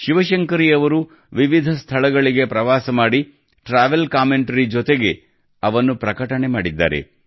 ಶಿವಶಂಕರಿ ಅವರು ವಿವಿಧ ಸ್ಥಳಗಳಿಗೆ ಪ್ರವಾಸ ಮಾಡಿದ ಟ್ರಾವೆಲ್ ಕಾಮೆಂಟರಿ ಜೊತೆಗೆ ಅವನ್ನು ಪ್ರಕಟಿಸಿದ್ದಾರೆ